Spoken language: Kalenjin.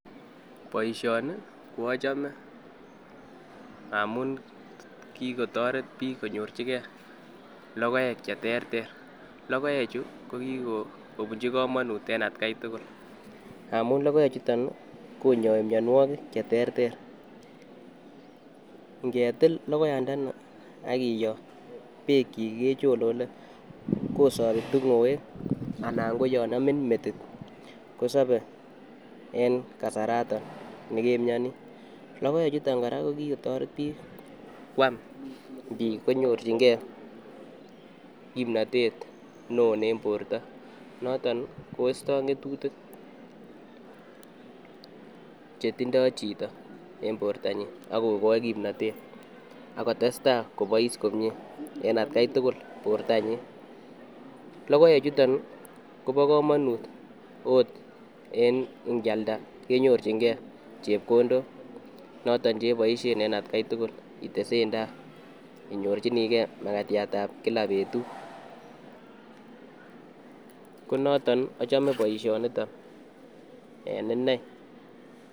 Boisioni ko achome ngamun kikotoret biik konyorchike logoek cheterter, logoechu kokikopunchi komonut en atkai tugul ngamun logoechuton konyoi mianwokik cherter ngetil logoiyandeni akiyo beekyik kecholole kosopi tingoek ana koyon amin metit kosope en kasarato nekemiani, logoechuton kora kokikotoret biik ngwam biik konyorchingee kipnotet neo en borto koisto ng'etutikchetindoo chito en bortanyin akokoi kipnotet akotestai kobois komie en atkai tugul, logoechuto kopokomonut oot en ngyalda kenyorchingee chepkondok noton cheboisien en atkai tugul itesen tai inyorchinike makatiatab kila betut ko noton achome boisionito en inei